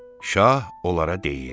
Şah onlara deyir: